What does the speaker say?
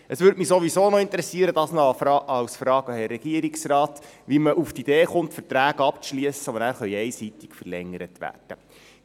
Es würde mich ohnehin noch interessieren – das noch als Frage an Herrn Regierungsrat –, wie man auf die Idee kommt, Verträge abzuschliessen, die nachher einseitig verlängert werden können.